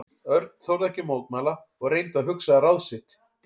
Örn þorði ekki að mótmæla og reyndi að hugsa ráð sitt.